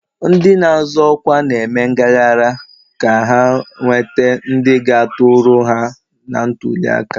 Ndị na-azọ ọkwa na-eme ngaghara ka ha nwete ndị ga-atụrụ ha na ntuli aka.